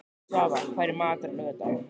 Svava, hvað er í matinn á laugardaginn?